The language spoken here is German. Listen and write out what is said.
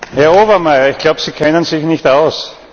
Herr Obermayr, ich glaube, Sie kennen sich nicht aus.